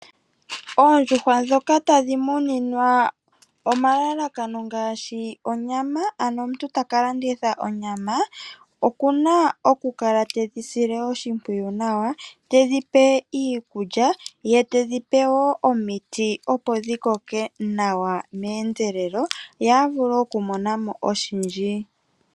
Oondjuhwa ndhoka tadhi muninwa omalalakano ngaashi onyama ano omuntu taka landitha onyama, okuna okukala tedhi sile oshimpwiyu nawa tedhi pe iikulya ye tedhi pe woo omiti opo dhikoke nawa meendelelo ye avule okumona mo oshindji.